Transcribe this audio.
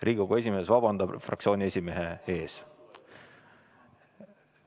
Riigikogu esimees vabandab fraktsiooni esimehe ees.